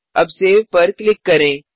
अब सेव पर क्लिक करें